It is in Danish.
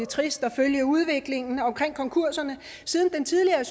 trist at følge udviklingen omkring konkurserne siden den tidligere